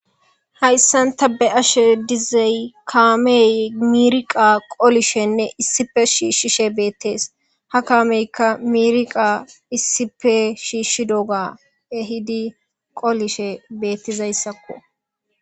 Hayssan ta be'ashe dizay kaamey miriqa qolishenne issipe shiishishe bettees ha kaameyka miriqa issipe shiishidoga ehidi qolishe beetizayssako.